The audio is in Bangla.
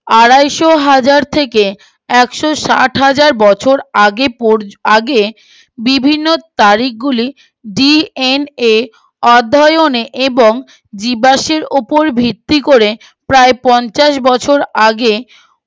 একশো ষাট হাজার বছর আগে পড় আগে বিভিন্ন তারিখ গুলি DNA অধ্যয়নে এবং জীবাশ্মের উপর ভিত্তি করে প্রায় পঞ্চাশ বছর আগে